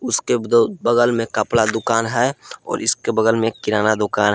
उसके दो बगल में कपड़ा दुकान है और इसके बगल में किराना दुकान है।